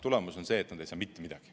Tulemus on see, et nad ei saa mitte midagi.